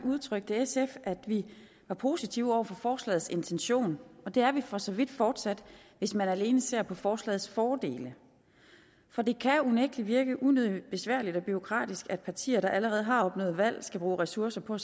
udtrykte sf at vi var positive over for forslagets intention det er vi for så vidt fortsat hvis man alene ser på forslagets fordele for det kan unægtelig virke unødigt besværligt og bureaukratisk at partier der allerede har opnået valg skal bruge ressourcer på at